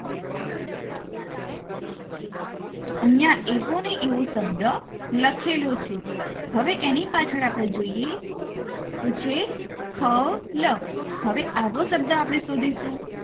તો ઐયા એવોને એવો શબ્દ લખેલો છે હવે એની પાછળ આપણે જોઈએ તો છે ખ લ હવે આવો શબ્દ આપણે શોધીશું